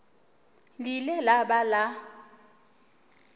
le ile la ba la